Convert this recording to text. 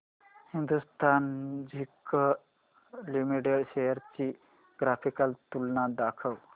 Hindustan zinc limited shares ची graphical तुलना दाखव